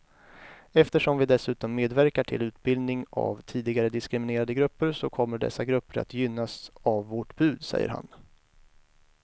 Eftersom vi dessutom medverkar till utbildning av tidigare diskriminerade grupper så kommer dessa grupper att gynnas av vårt bud, säger han.